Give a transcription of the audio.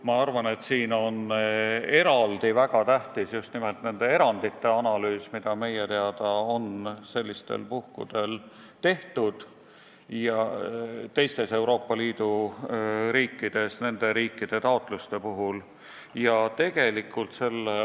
Ma arvan, et väga tähtis on analüüsida just nimelt neid erandeid, mida meie teada on tehtud teistes Euroopa Liidu riikides nende taotluste rahuldamisel.